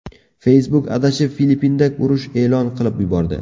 Facebook adashib Filippinda urush e’lon qilib yubordi.